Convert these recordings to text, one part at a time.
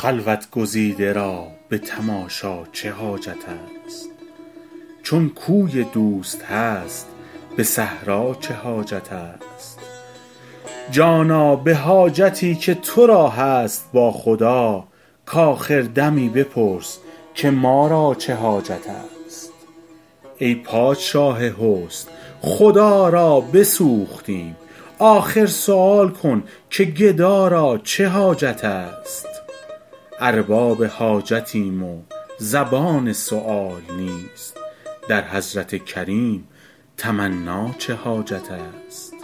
خلوت گزیده را به تماشا چه حاجت است چون کوی دوست هست به صحرا چه حاجت است جانا به حاجتی که تو را هست با خدا کآخر دمی بپرس که ما را چه حاجت است ای پادشاه حسن خدا را بسوختیم آخر سؤال کن که گدا را چه حاجت است ارباب حاجتیم و زبان سؤال نیست در حضرت کریم تمنا چه حاجت است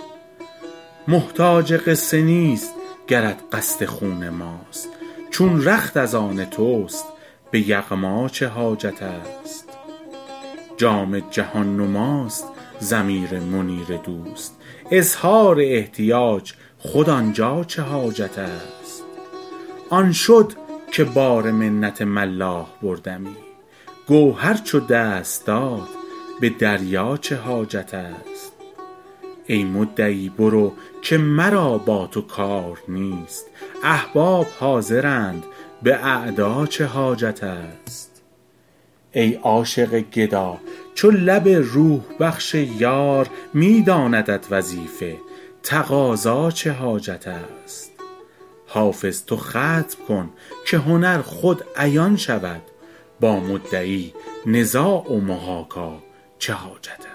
محتاج قصه نیست گرت قصد خون ماست چون رخت از آن توست به یغما چه حاجت است جام جهان نماست ضمیر منیر دوست اظهار احتیاج خود آن جا چه حاجت است آن شد که بار منت ملاح بردمی گوهر چو دست داد به دریا چه حاجت است ای مدعی برو که مرا با تو کار نیست احباب حاضرند به اعدا چه حاجت است ای عاشق گدا چو لب روح بخش یار می داندت وظیفه تقاضا چه حاجت است حافظ تو ختم کن که هنر خود عیان شود با مدعی نزاع و محاکا چه حاجت است